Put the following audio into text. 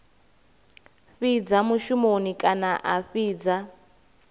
fhidza mushumoni kana a fhidza